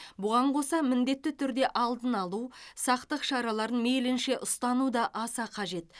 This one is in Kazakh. бұған қоса міндетті түрде алдын алу сақтық шараларын мейлінше ұстану да аса қажет